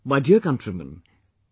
My dear countrymen,